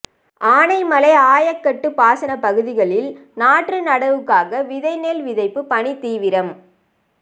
ஆனைமலை ஆயக்கட்டு பாசன பகுதிகளில் நாற்று நடவுக்காக விதை நெல் விதைப்பு பணி தீவிரம்